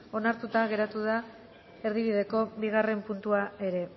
onartuta geratu da erdibideko bigarren puntua ere